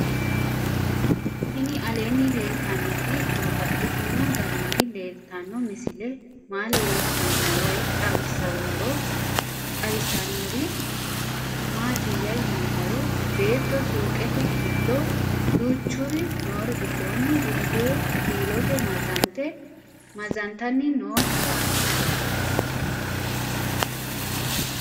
Tinni aleenni leelittannotti babaxxittinno garinni leelittanno misile maa leelishshanno woy xawisannori maattiya yinummoro beetto suuqqette giddo duuchuri noori gidoonni bulee kiilotte mazantanni noo yaatte